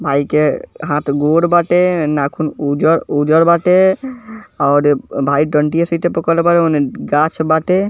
भाई के हाथ गोर बाटे नाखून उज़र-उज़र बाटे और भाई डंटीया सहिते पकड़ले बा ओने गाछ बाटे।